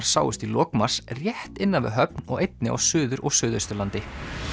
sáust í lok mars rétt innan við Höfn og einnig á Suður og Suðausturlandi